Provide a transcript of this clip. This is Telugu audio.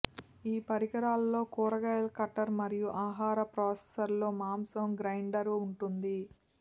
ఈ పరికరాల్లో కూరగాయల కట్టర్ మరియు ఆహార ప్రాసెసర్తో మాంసం గ్రైండర్ ఉంటుంది